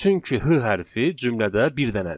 Çünki h hərfi cümlədə bir dənədir.